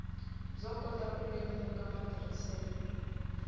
byo kota ku lemuka matirhiselo